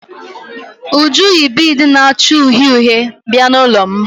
Uju yi biidi na-acha uhie uhie bịa n'ụlọ m.